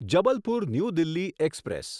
Jabalpur new Delhi express